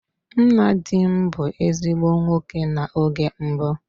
Nna di m bụ ezigbo nwoke na oge mbụ.